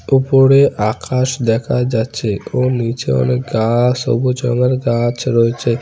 উপরে আকাশ দেখা যাচ্ছে ও নিচে অনেক গাছ সবুজ রঙের গাছ রয়েছে।